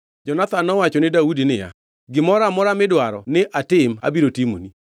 Jonathan nowacho ni Daudi niya, “Gimoro amora midwaro ni atim abiro timoni.”